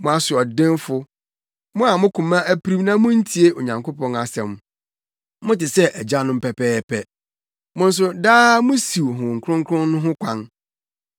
“Mo asoɔdenfo, mo a mo koma apirim na muntie Onyankopɔn asɛm. Mote sɛ mo agyanom pɛpɛɛpɛ. Mo nso daa musiw Honhom Kronkron no ho kwan.